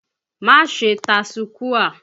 Má ṣe tasukúà!